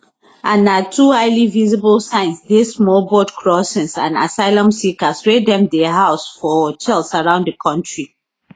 and na two highly visible signs dey small boat crossings and asylum seekers wey dem dey house for hotels around di kontri